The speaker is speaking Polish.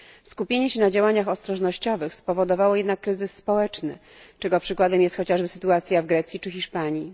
Skupienie się na działaniach ostrożnościowych spowodowało jednak kryzys społeczny, czego przykładem jest chociażby sytuacja w Grecji czy Hiszpanii.